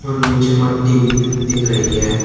नीचे मट्टी भी दिख रही है।